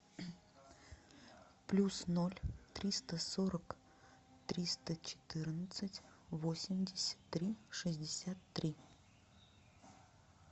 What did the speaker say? плюс ноль триста сорок триста четырнадцать восемьдесят три шестьдесят три